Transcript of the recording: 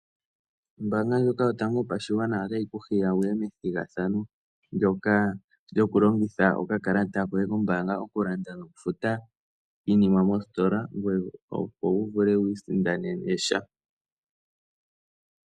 Ombaanga ndjoka yotango yopashigwana otayi ku hiya wu ye methigathano ndyoka lyokulongitha okakalata koye kombaanga oku landa nokufuta iinima moositola opo wu vule wu isindanene sha.